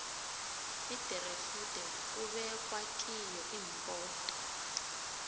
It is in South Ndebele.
iderefudi kubekwa kiyo limpoto